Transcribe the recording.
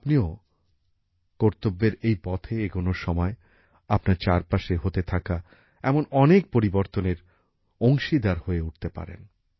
আপনিও কর্তব্যের এই পথে এগনোর সময় আপনার চারপাশে হতে থাকা এমন অনেক পরিবর্তনের অংশীদার হয়ে উঠতে পারেন